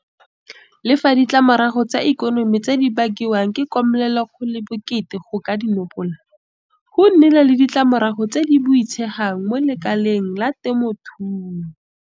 Le fa ditlamorago tsa ikonomi tse di bakiwang ke komelelo go le bokete go ka di nopola, go nnile le ditlamorago tse di boitshegang mo lekaleng la temothuo.